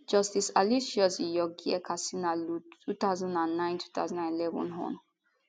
justice aloysius iyorgyer katsinaalu 20092011 hon